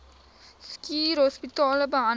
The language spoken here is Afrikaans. schuur hospitale behandel